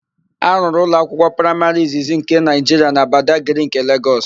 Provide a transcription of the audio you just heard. A rụrụ ụlọakwụkwọ praịmarị izizi nke Naịjiria na Badagrị nke Legọs.